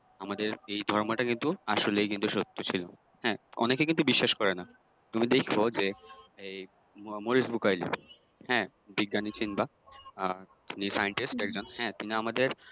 আমাদের এই ধর্মটা কিন্তু আসলেই কিন্তু সত্য ছিলো হ্যাঁ অনেকে কিন্তু বিশ্বাস করে নাহ তুমি দেইখো যে এই মরিস বুকাইল হ্যাঁ বিজ্ঞানী চিনবা বা Scientist একজন ছিলেন হ্যা তিনি আমাদের